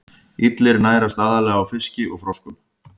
Illir nærast aðallega á fiski og froskum.